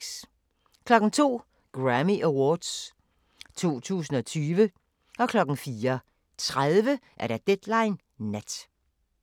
02:00: Grammy Awards 2020 04:30: Deadline Nat